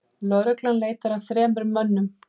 Lögreglan leitar að þremur mönnum